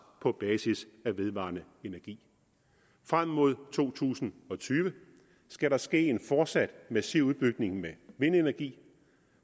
på basis af vedvarende energi frem mod to tusind og tyve skal der ske en fortsat massiv udbygning med vindenergi